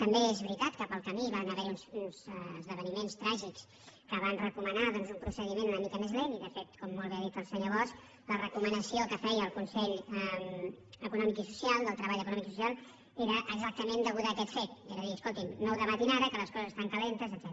també és veritat que pel camí hi van haver uns esdeveniments tràgics que van recomanar un pro·cediment una mica més lent i de fet com molt bé ha dit el senyor bosch la recomanació que feia el consell del treball econòmic i social era exactament a cau·sa d’aquest fet és a dir escolti’m no ho debatin ara que les coses estan calentes etcètera